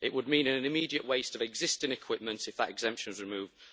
It would mean an immediate waste of existing equipment if that exemption was removed.